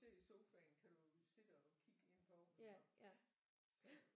Sidder i sofaen kan du sidde og kigge ind på iggå så